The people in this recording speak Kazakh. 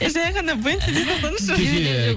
жай ғана бентли дей салсаңызшы